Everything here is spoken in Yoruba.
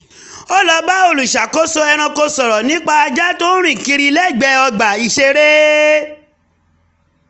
ó lọ bá olùṣàkóso ẹranko sọrọ nípa ajá tó ń rìn kiri lẹ́gbẹ̀ẹ́ ọgbà ìṣeré